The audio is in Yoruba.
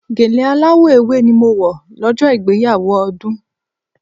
Gèlè aláwọ̀ ewé ni mo wọ̀ lọ́jọ́ ìgbéyàwó Ọdún.